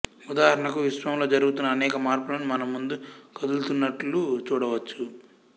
ఉదాహరణకు విశ్వంలో జరుగుతున్న అనేక మార్పులను మన ముందు కదులుతున్నట్లు చూడవచ్చు